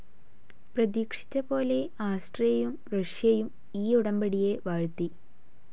പ്രതീക്ഷിച്ചപോലെ ആസ്ട്രിയയു റഷ്യയും ഈ ഉടമ്പടിയെ വാഴ്ത്തി.